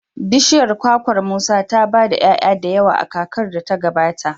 bishiyar kwakwar Musa ta ba da 'ya'ya da yawa a kakar da ta gabata.